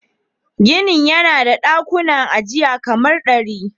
Ginin yana da dakunan ajiya kaman dari.